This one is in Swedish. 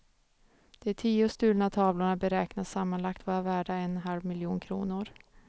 De tio stulna tavlorna beräknas sammanlagt vara värda en halv miljon kronor.